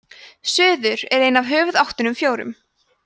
suður er ein af höfuðáttunum fjórum